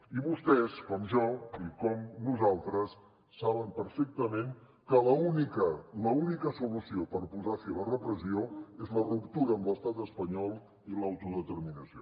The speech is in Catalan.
i vostès com jo i com nosaltres saben perfectament que l’única l’única solució per posar fi a la repressió és la ruptura amb l’estat espanyol i l’autodeterminació